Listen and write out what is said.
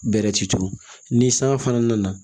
Bɛrɛ ti turu ni san fana nana